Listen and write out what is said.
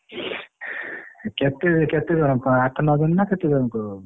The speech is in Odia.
କେତେ କେତେ ଜଣ ଆଠ ନଅ ଜଣ ନା କେତେ ଜଣକୁ?